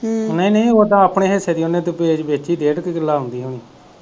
ਨਹੀਂ ਨਹੀਂ ਓਦਾ ਆਪਣੇ ਹਿੱਸੇ ਦੀ ਓਨੇ ਜਿਹੜੀ ਵੇਚੀ ਡੇਢ ਕ ਕੀਲਾ ਆਉਂਦੀ ਹੋਣੀ।